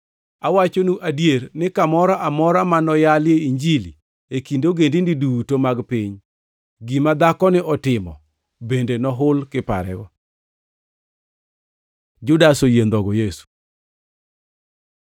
Awachonu adier ni kamoro amora ma noyalie Injilini e kind ogendini duto mag piny, gima dhakoni otimo bende nohul, kiparego.” Judas oyie ndhogo Yesu